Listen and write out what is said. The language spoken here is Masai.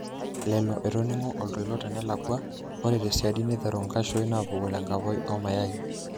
Lello, etoningo oltoilo tenelakwa ore tesiadi neteru nkashuin apuku tenkapoi omayai.